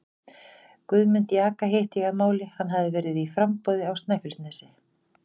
Guðmund jaka hitti ég að máli, hann hafði verið í framboði á Snæfellsnesi.